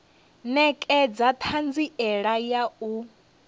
ṋekedza na ṱhanziela ya u